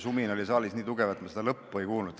Sumin oli saalis nii tugev, et ma küsimuse lõppu ei kuulnud.